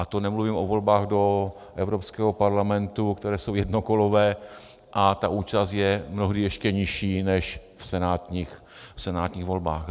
A to nemluvím o volbách do Evropského parlamentu, které jsou jednokolové a ta účast je mnohdy ještě nižší než v senátních volbách.